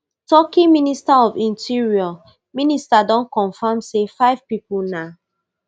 turkey minister of interior minister don comfam say five pipo na